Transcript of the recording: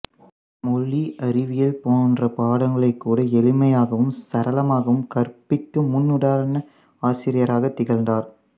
மொழி அறிவியல் போன்ற பாடங்களைக்கூட எளிமையாகவும் சரளமாகவும் கற்பிக்கும் முன்னுதாரண ஆசிரியராகத் திகழ்ந்தார்